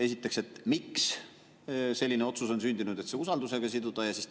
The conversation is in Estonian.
Esiteks, miks selline otsus on sündinud, et see usaldamisega siduda?